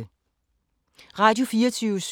Radio24syv